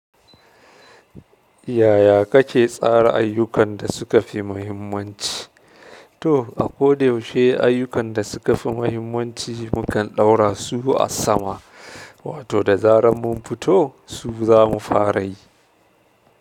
Yaya kake tsara ayyukan da suka fi mahimmanci? To, a ko da yaushe ayyukan da suka fi mahimmanci mukan ɗaura su a sama, wato da zaran mun futo su zamu fara yi.